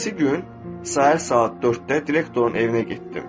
Səhərisi gün, səhər saat 4-də direktorun evinə getdim.